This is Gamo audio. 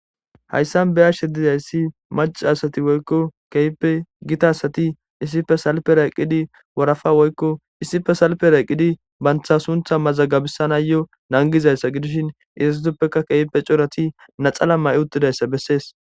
Hayssan be7ashshe dizayssi maccca asati woykko keehippe gita asati issipe salpera eqqidi warafa woykko issipe salpera eqqidi bantha suntha mazagabisanaayyo nangizayssa gidishin izatuppeka keehipe corati naxala mayi uttidayssa bessees.